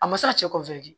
A ma se ka cɛ